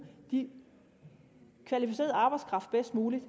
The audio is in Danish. den kvalificerede arbejdskraft bedst muligt